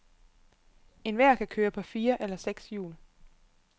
Enhver kan køre på fire eller seks hjul.